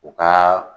U ka